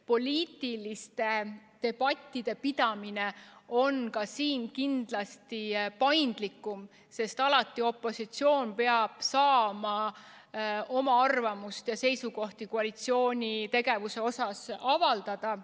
Poliitiliste debattide pidamine on ka siin kindlasti paindlikum, sest alati peab opositsioon saama oma arvamust ja seisukohti koalitsiooni tegevuse kohta avaldada.